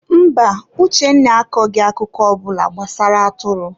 Mba, Uchenna akọghị akụkọ ọ bụla gbasara atụrụ.